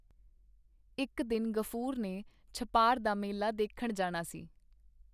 ਇੱਕ ਦਿਨ ਗ਼ਫੂਰ ਨੇ ਛਪਾਰ ਦਾ ਮੇਲਾ ਦੇਖਣ ਜਾਣਾ ਸੀ.